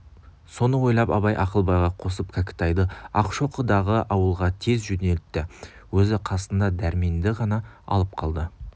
соны ойлап абай ақылбайға қосып кәкітайды ақшоқыдағы ауылға тез жөнелтті өзі қасына дәрменді ғана алып қалды